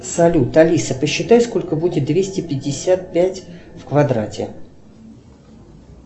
салют алиса посчитай сколько будет двести пятьдесят пять в квадрате